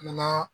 Nana